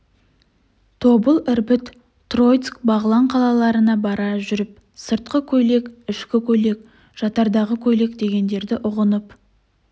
тобыл ірбіт троицк бағлан қалаларына бара жүріп сыртқы көйлек ішкі көйлек жатардағы көйлек дегендерді ұғынып